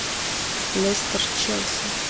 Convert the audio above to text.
лестер челси